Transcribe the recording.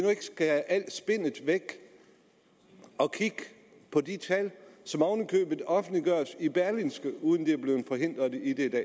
skære alt spinnet væk og kigge på de tal som oven i købet offentliggøres i berlingske uden at de er blevet forhindret i det